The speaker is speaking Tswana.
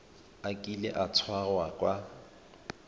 a kile a tshwarwa ka